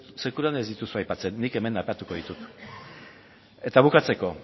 ez sekulan ez dituzue aipatzen nik hemen aipatuko ditut eta bukatzeko